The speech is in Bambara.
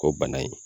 Ko bana in